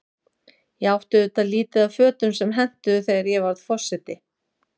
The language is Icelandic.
Ég átti auðvitað lítið af fötum sem hentuðu, þegar ég varð forseti.